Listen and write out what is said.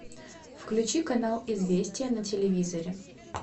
включи канал известия на телевизоре